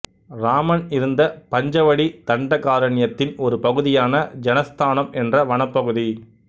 இராமன் இருந்த பஞ்சவடி தண்டகாரண்யத்தின் ஒரு பகுதியான ஜனஸ்தானம் என்ற வனப்பகுதி